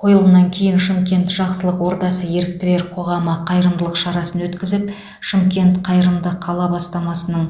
қойылымнан кейін шымкент жақсылық ордасы еріктілер қоғамы қайырымдылық шарасын өткізіп шымкент қайырымды қала бастамасының